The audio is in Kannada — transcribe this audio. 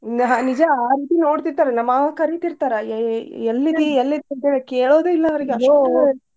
ಹಾ ನಿಜ ಆ ರೀತಿ ನೋಡ್ತೀರ್ತಾರಲ್ ನಮ್ ಮಾವ ಕರೀ ತೀರ್ತಾರ ಎ~ ಎಲ್ಲಿದಿ ಎಲ್ಲಿದಿ ಅಂತ್ಹೇಳಿ ಕೇಳೋದೇ ಇಲ್ಲ ಅವ್ರಿಗ .